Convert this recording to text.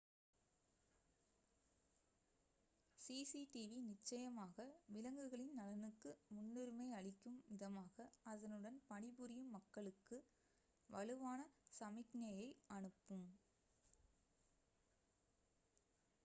"""cctv நிச்சயமாக விலங்குகளின் நலனுக்கு முன்னுரிமை அளிக்கும் விதமாக அதனுடன் பணிபுரியும் மக்களுக்கு வலுவான சமிக்ஞையை அனுப்பும்."